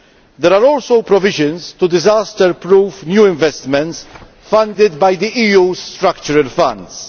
There are also provisions to disaster proof new investments funded by the EU's structural funds.